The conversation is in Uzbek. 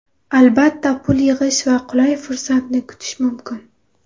Albatta pul yig‘ish va qulay fursatni kutish mumkin.